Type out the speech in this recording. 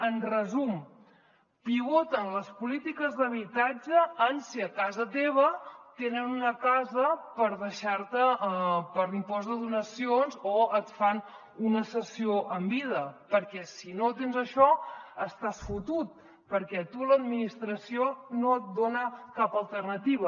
en resum pivoten les polítiques d’habitatge en si a casa teva tenen una casa per deixar te per l’impost de donacions o et fan una cessió en vida perquè si no tens això estàs fotut perquè a tu l’administració no et dona cap alternativa